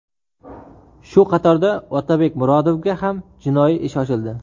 Shu qatorda Otabek Murodovga ham jinoiy ish ochildi .